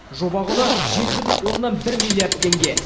жоба құны жеті бүтін оннан бір миллиард теңге